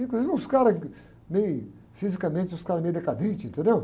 Inclusive, os caras, que, meio, fisicamente, uns caras meio decadentes, entendeu?